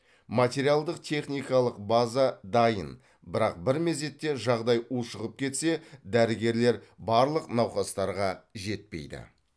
материалдық техникалық база даиын бірақ бір мезетте жағдаи ушығып кетсе дәрігерлер барлық науқастарға жетпеиді